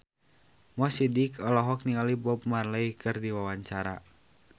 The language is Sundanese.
Mo Sidik olohok ningali Bob Marley keur diwawancara